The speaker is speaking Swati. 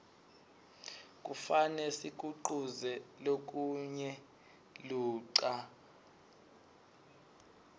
kufane sikuquze lokinye ludca